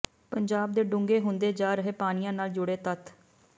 ਪੰਜਾਬ ਦੇ ਡੂੰਘੇ ਹੁੰਦੇ ਜਾ ਰਹੇ ਪਾਣੀਆਂ ਨਾਲ ਜੁੜੇ ਤੱਥ